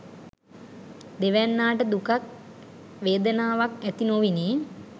දෙවැන්නාට දුකක් වේදනාවක් ඇති නොවිණි.